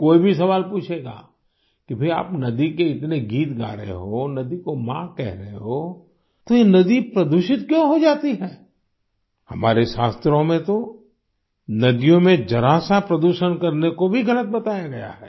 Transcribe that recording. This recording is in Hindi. कोई भी सवाल पूछेगा कि भई आप नदी के इतने गीत गा रहे हो नदी को माँ कह रहे हो तो ये नदी प्रदूषित क्यों हो जाती है हमारे शास्त्रों में तो नदियों में जरा सा प्रदूषण करने को भी गलत बताया गया है